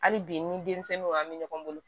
Hali bi ni denmisɛnninw ɲagamin ɲɔgɔn bolo